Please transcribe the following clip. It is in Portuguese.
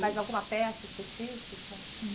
Mas alguma peça específica?